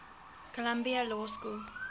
columbia law school